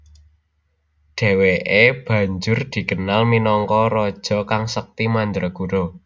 Dheweke banjur dikenal minangka raja kang sekti mandraguna